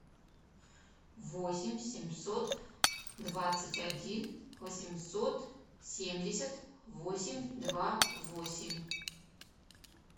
восемь семьсот двадцать один восемьсот семьдесят восемь два восемь